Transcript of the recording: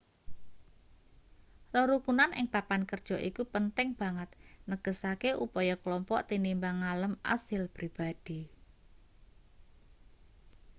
rerukunan ing papan kerja iku penting banget negesake upaya klompok tinimbang ngalem asil pribadi